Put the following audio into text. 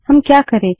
हम क्या करे160